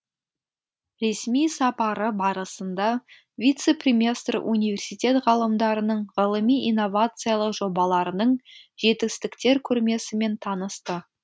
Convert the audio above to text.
ресми сапары барысында вице премьестр университет ғалымдарының ғылыми инновациялық жобаларының жетістіктер көрмесімен танысты